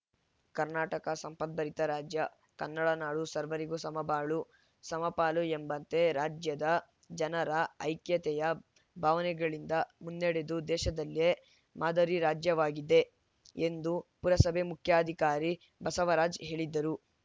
ಕರ್ನಾಟಕ ಸಂಪತ್ಭರಿತ ರಾಜ್ಯ ಕನ್ನಡ ನಾಡು ಸರ್ವರಿಗೂ ಸಮಬಾಳು ಸಮಪಾಲು ಎಂಬಂತೆ ರಾಜ್ಯದ ಜನರ ಐಕ್ಯತೆಯ ಭಾವನೆಗಳಿಂದ ಮುನ್ನಡೆದು ದೇಶದಲ್ಲೇ ಮಾದರಿ ರಾಜ್ಯವಾಗಿದೆ ಎಂದು ಪುರಸಭೆ ಮುಖ್ಯಾಧಿಕಾರಿ ಬಸವರಾಜ್‌ ಹೇಳಿದರು